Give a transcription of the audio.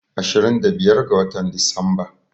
Ashirin da biyar ga watan Disamba.